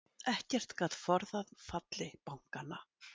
Ekkert gat forðað falli bankanna